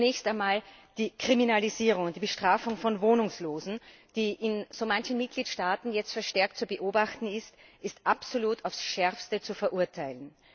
Zunächst einmal Die Kriminalisierung, die Bestrafung von Wohnungslosen, die in so manchen Mitgliedstaaten jetzt verstärkt zu beobachten ist, ist absolut aufs Schärfste zu verurteilen.